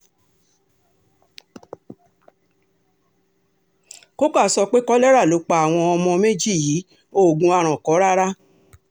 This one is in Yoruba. coker sọ pé kolera ló pa àwọn ọmọ méjì yìí oògùn aràn kọ́ rárá